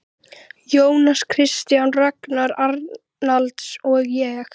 Jónas Kristjánsson, Ragnar Arnalds og ég.